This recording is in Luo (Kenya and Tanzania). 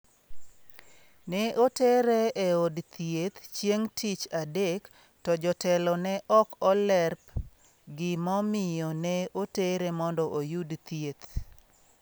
Ne otere e od thieth chieng’ tich adek to jotelo ne ok olerp gimomiyo ne otere mondo oyud thieth.